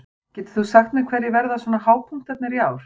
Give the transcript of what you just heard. Getur þú sagt mér hverjir verða svona hápunktarnir í ár?